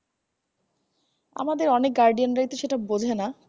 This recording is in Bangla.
আমাদের অনেক guardian সেটা বঝে না